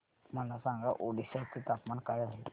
मला सांगा ओडिशा चे तापमान काय आहे